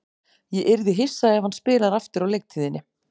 Ég yrði hissa ef hann spilar aftur á leiktíðinni.